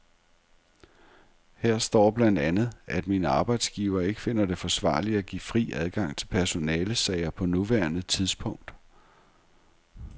Her står blandt andet, at min arbejdsgiver ikke finder det forsvarligt at give fri adgang til personalesager på nuværende tidspunkt.